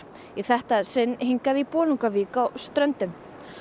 í þetta sinn hingað í Bolungarvík á Ströndum